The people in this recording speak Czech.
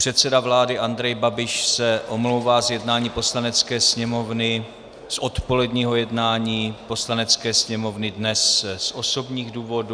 Předseda vlády Andrej Babiš se omlouvá z jednání Poslanecké sněmovny, z odpoledního jednání Poslanecké sněmovny, dnes z osobních důvodů.